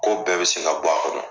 Ko bɛɛ bɛ se ka b'a kɔnɔ